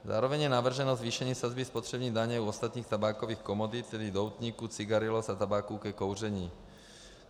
Zároveň je navrženo zvýšení sazby spotřební daně u ostatních tabákových komodit, tedy doutníků, cigarillos a tabáku ke kouření.